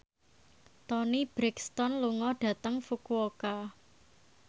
Toni Brexton lunga dhateng Fukuoka